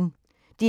DR P1